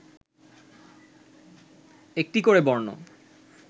একটি করে বর্ণ